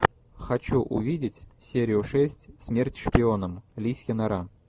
хочу увидеть серию шесть смерть шпионам лисья нора